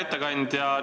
Hea ettekandja!